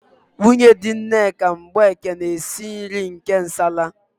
Nwunye di Nneka Mgbeke na-esi nri nke nsala.